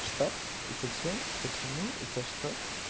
что зачем почему за что